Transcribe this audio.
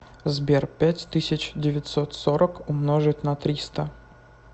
сбер пять тысяч девятьсот сорок умножить на триста